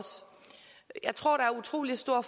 jeg tror der er utrolig stor